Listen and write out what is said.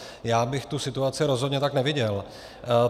Já bych tu situaci rozhodně tak neviděl.